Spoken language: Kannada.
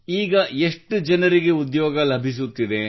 ಈಗ ಎಷ್ಟು ಜನರಿಗೆ ಉದ್ಯೋಗ ಲಭಿಸುತ್ತಿದೆ